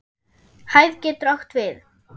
Hæð getur átt við